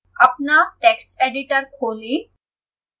अपना text editor खोलें